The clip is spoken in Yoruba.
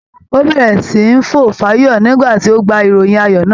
Ó bẹ̀rẹ̀ sí ní fò fáyọ̀ nígbà tí ó gbọ́ ìròyìn ayọ̀ náà.